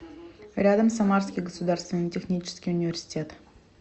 рядом самарский государственный технический университет